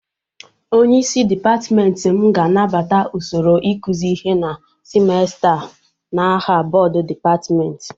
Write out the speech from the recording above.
Onyeisi dịpatmenti m ga-anabata usoro ịkụzị ihe na simesta a n'aha bọdụ dịpatmenti.